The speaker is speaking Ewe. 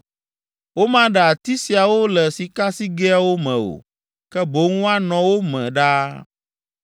Womaɖe ati siawo le sikasigɛawo me o, ke boŋ woanɔ wo me ɖaa.